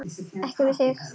Ekki við þig.